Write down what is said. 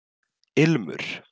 Ilmur